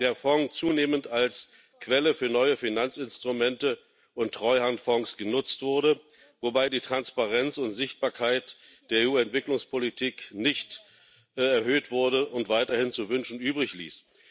der Fonds zunehmend als Quelle für neue Finanzinstrumente und Treuhandfonds genutzt wurde, wobei die Transparenz und Sichtbarkeit der EU Entwicklungspolitik nicht erhöht wurde und weiterhin zu wünschen übrig ließ.